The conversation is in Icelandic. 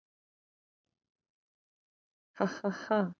"""Ha, ha, ha!"""